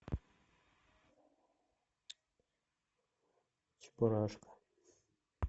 чебурашка